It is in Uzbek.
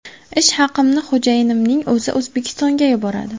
Ish haqimni xo‘jayinimning o‘zi O‘zbekistonga yuboradi.